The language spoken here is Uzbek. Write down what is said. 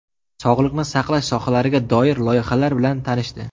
sog‘liqni saqlash sohalariga doir loyihalar bilan tanishdi.